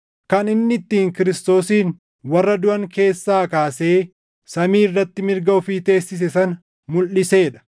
kan inni ittiin Kiristoosin warra duʼan keessaa kaasee samii irratti mirga ofii teessise sana mulʼisee dha;